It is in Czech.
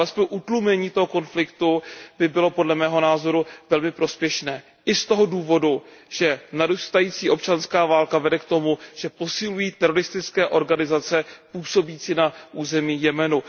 Ale alespoň utlumení toho konfliktu by bylo podle mého názoru velmi prospěšné. I z toho důvodu, že narůstající občanská válka vede k tomu, že posilují teroristické organizace působící na území Jemenu.